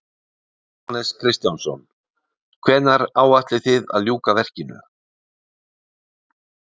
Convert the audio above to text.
Jóhannes Kristjánsson: Hvenær áætlið þið að ljúka verkinu?